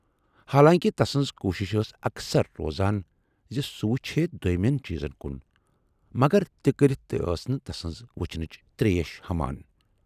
حالانکہِ تسٕنز کوٗشِش ٲس اکثر روزان زِ سُہ وُچھِ ہے دویمٮ۪ن چیٖزن کُن، مگر تہِ کٔرِتھ تہِ ٲس نہٕ تسٕنز وُچھنٕچ تریش ہمان۔